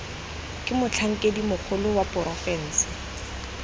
ke motlhankedi mogolo wa porofensi